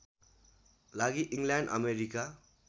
लागि England America